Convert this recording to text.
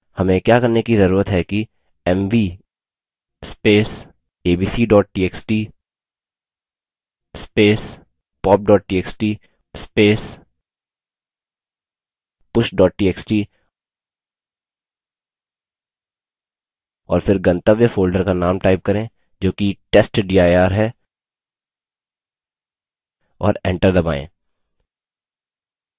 हमें क्या करने कि जरूरत है कि mv abc txt pop txt push txt और फिर गंतव्य folder का name type करें जो कि testdir है और enter दबायें